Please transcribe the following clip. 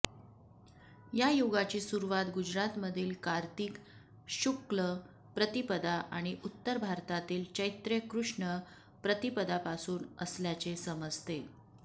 या युगाची सुरुवात गुजरातमधील कार्तिक शुक्ल प्रतिपदा आणि उत्तर भारतातील चैत्र कृष्ण प्रतिपदापासून असल्याचे समजते